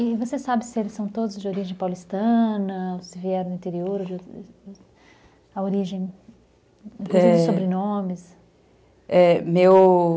E você sabe se eles são todos de origem paulistana, se vieram do interior, a origem, inclusive, de sobrenomes? é, meu